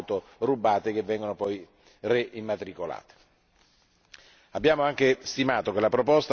Purtroppo esiste un traffico enorme di auto rubate che vengono poi reimmatricolate.